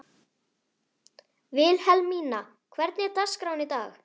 Vilhelmína, hvernig er dagskráin í dag?